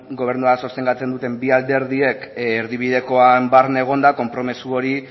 gobernuak sostengatzen duten bi alderdiek erdibidekoan barne egonda konpromiso hori